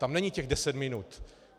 Tam není těch deset minut.